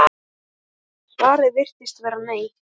Svarið virðist vera nei.